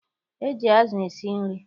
E ji azụ esi nri.